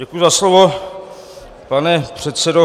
Děkuji za slovo, pane předsedo.